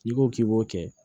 N'i ko k'i b'o kɛ